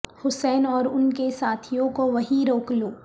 حسین اور ان کے ساتھیوں کو وہیں روک لو